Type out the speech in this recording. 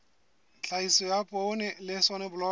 tlhahiso ya poone le soneblomo